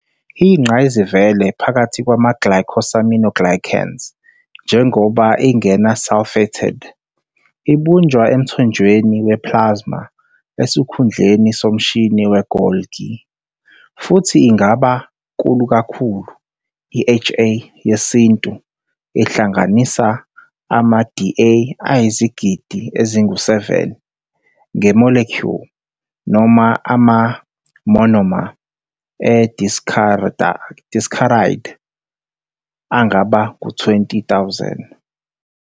Iyingqayizivele phakathi kwama-glycosaminoglycans njengoba ingena-sulfated, ibunjwa emthonjeni we-plasma esikhundleni somshini we-Golgi, futhi ingaba nkulu kakhulu- i-HA yesintu ihlanganisa ama-Da ayizigidi ezingu-7 nge-molecule, noma ama-monomer e-disaccharide angaba ngu-20,000.